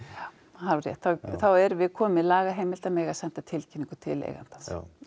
alveg rétt þá erum við komin með laga heimild til að mega senda tilkynningu til eigandans